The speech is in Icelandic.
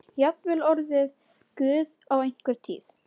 Jafnvel orðið guð á einhverri tíð.